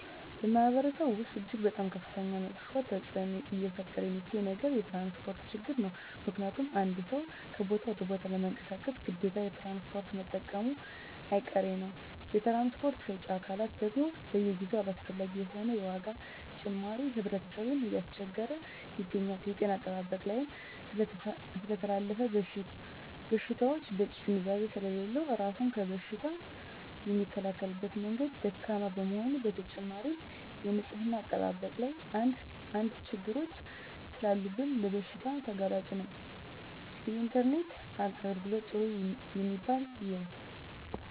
በማህበረሰቡ ወስጥ እጅግ በጣም ከፍተኛ መጥፌ ተፅዕኖ እየፈጠረ የሚገኘው ነገር የትራንስፖርት ችግር ነው ምክንያቱም አንድ ሰው ከቦታ ወደ ቦታ ለመንቀሳቀስ ግዴታ ትራንስፖርት መጠቀሙጨ አይቀሬ ነው የትራንስፖርት ሰጪ አካላት ደግም በየጊዜው አላስፈላጊ የሆነ የዋጋ ጭማሪ ህብረተሰብን እያስቸገረ ይገኛል። የጤና አጠባበቅ ላይም ስለተላላፊ በሽታወች በቂ ግንዛቤ ስሌለለው እራሱን ከበሽታ የሚከላከልበት መንገድ ደካማ በመሆኑ በተጨማሪም የንፅህና አጠባበቅ ላይም አንድ አንድ ችግሮች ሰላሉብን ለበሽታ ተጋላጭ ነን። የኢንተርኔት የአገልግሎት ጥሩ የሚባል የው።